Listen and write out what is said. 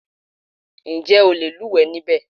Ǹjẹ́ o le lúùwẹ́ níbẹ̀?